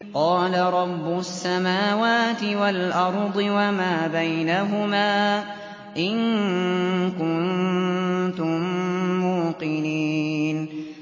قَالَ رَبُّ السَّمَاوَاتِ وَالْأَرْضِ وَمَا بَيْنَهُمَا ۖ إِن كُنتُم مُّوقِنِينَ